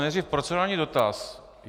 Nejdřív procedurální dotaz.